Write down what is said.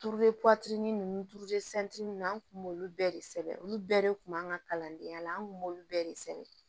Turuli nunnu turu nunnu an kun b'olu bɛɛ de sɛbɛn olu bɛɛ de kun b'an ka kalandenya la an kun b'olu bɛɛ de sɛbɛn